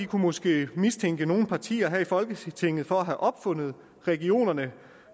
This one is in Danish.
kunne måske mistænke nogle partier her i folketinget for at have opfundet regionerne